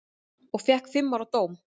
Og fékk fimm ára dóm.